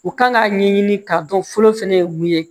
U kan k'a ɲɛɲini k'a dɔn fɔlɔ fɛnɛ ye mun ye